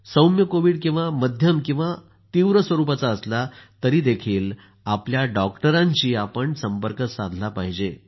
सौम्य कोविड किंवा मध्यम किंवा तीव्र स्वरूपाचा असला तरीही आपल्या डॉक्टरांशी संपर्क साधला पाहिजे